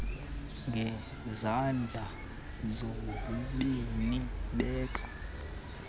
ngezandla zozibini beka